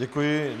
Děkuji.